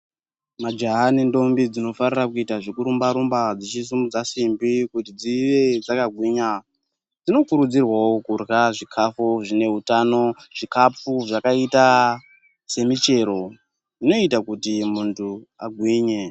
Majaha ne ndombi dzino farira kuita zveku rumba dzichi sumudza simbi kuti dzive dzaka gwinya dzino kurudzirwawo kudya zvikafu zvine utano zvikafu zvakaita se michiro zvinoita kuti muntu agwinye.